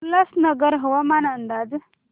उल्हासनगर हवामान अंदाज